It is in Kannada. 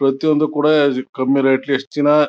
ಪ್ರತಿ ಒಂದು ಕೂಡ ಕಮ್ಮಿ ರೇಟ್ ಲಿ ಎಷ್ಟು ದಿನ--